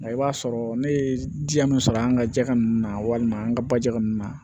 Nka i b'a sɔrɔ ne ye diya min sɔrɔ an ka jɛgɛ ninnu na walima an ka baji ninnu na